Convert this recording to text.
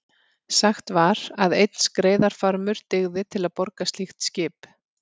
Sagt var að einn skreiðarfarmur dygði til að borga slíkt skip.